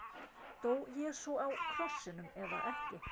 Dó Jesú á krossinum eða ekki?